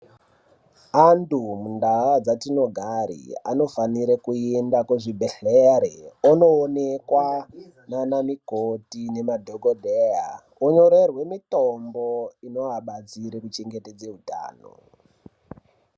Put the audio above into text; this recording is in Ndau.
Antu mundau dzatinogara anofana kuenda kuzvibhehleya ondoonekwa nana mukoti nemadhokodheya onyorerwa mutombo inovabatsira kuchengetedza hutano.